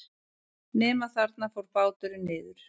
Nema þarna fór báturinn niður.